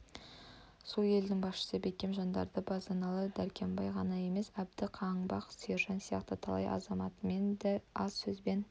сол елдің басшы бекем жандары базаралы дәркембай ғана емес әбді қаңбақ сержан сияқты талай азаматымен де аз сөзбен